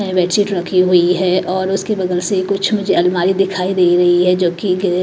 bedsheet रखी हुई है और उसके बगल से कुछ मुझे अलमारी दिखाई दे रही है जो कि --